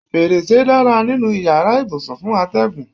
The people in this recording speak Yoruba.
Fèrèsé dára nínú ìyára ibùsùn fún atẹ́gùn.